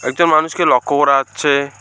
একটা মানুষকে লক্ষ করা যাচ্ছে।